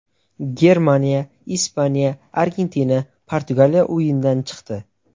Germaniya, Ispaniya, Argentina, Portugaliya o‘yindan chiqdi.